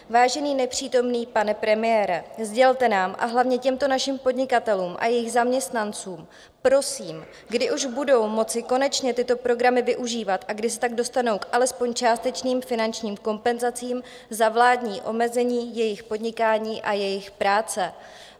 Vážený nepřítomný pane premiére, sdělte nám, a hlavně těmto našim podnikatelům a jejich zaměstnancům, prosím, kdy už budou moci konečně tyto programy využívat a kdy se tak dostanou k alespoň částečným finančním kompenzacím za vládní omezení jejich podnikání a jejich práce.